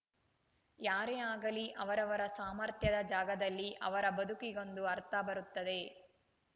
ಯಾರೇ ಆಗಲಿ ಅವರವರ ಸಾಮರ್ಥ್ಯದ ಜಾಗದಲ್ಲಿ ಅವರ ಬದುಕಿಗೊಂದು ಅರ್ಥ ಬರುತ್ತದೆ